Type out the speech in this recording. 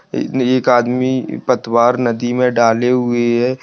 इसमें एक आदमी पतवार नदी में डाले हुए है।